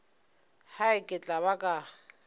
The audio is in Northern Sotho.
hai ke tla ba ka